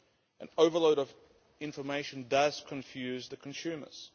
An overload of information does confuse the consumers.